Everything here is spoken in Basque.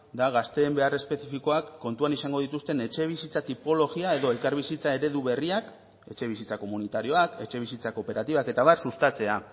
da gazteen behar espezifikoak kontuan izango dituzten etxebizitza tipologia edo elkarbizitza eredu berriak etxebizitza komunitarioak etxebizitza kooperatibak eta abar sustatzea